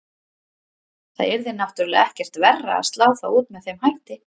Það yrði náttúrulega ekkert verra að slá þá út með þeim hætti.